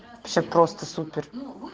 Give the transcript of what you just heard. все просто супер